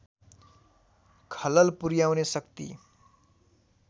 खलल पुर्‍याउने शक्ति